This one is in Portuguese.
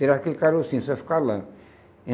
Tirar aquele carocinho, só fica a lã.